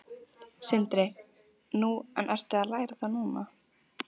Sindri: Nú, en ertu að læra það núna?